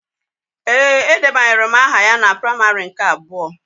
Ee, edebanyere m aha ya na praimarị nke abụọ